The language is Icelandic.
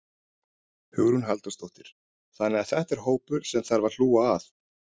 Hugrún Halldórsdóttir: Þannig að þetta er hópur sem að þarf að hlúa að?